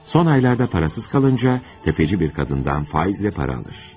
Son aylarda pulsuz qalınca, sələmçi bir qadından faizlə pul alır.